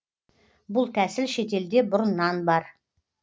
бұл тәсіл шетелде бұрыннан бар